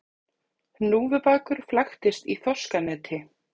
Hnúfubakur flæktist í þorskaneti